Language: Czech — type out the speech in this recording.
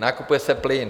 Nakupuje se plyn.